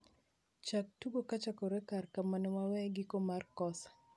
chak tugo kochakore kare kamane waweye giko mar kosa